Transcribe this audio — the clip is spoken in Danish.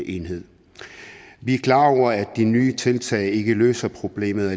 enhed vi er klar over at de nye tiltag ikke alene løser problemet